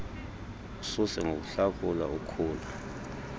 lususe ngokuluhlakula ukhula